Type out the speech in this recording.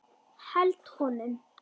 Held honum.